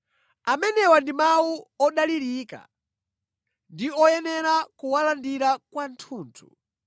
Amenewa ndi mawu odalirika ndi oyenera kuwalandira kwathunthu.